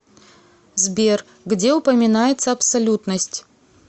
сбер где упоминается абсолютность